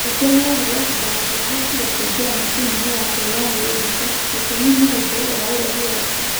Ningĩ nĩ eerirũo atĩ ndangĩahotire kũingĩra macini-inĩ ya kũhũra mwĩrĩ mbica. Gitumi nĩ ũndũ wa ũraihu wake.